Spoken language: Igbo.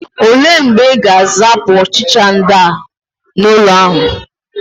Ole mgbe Ị ga-azapụ ọchịcha ndị ahụ n'ụlọ ahụ?